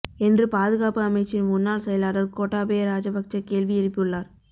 என்று பாதுகாப்பு அமைச்சின் முன்னாள் செயலாளர் கோட்டாபய ராஜபக்ஷ கேள்வி எழுப்பியுள்ளார்